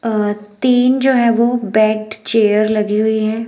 अ तीन जो है वो बेड चेयर लगी हुई है।